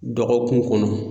Dɔgɔkun kɔnɔ.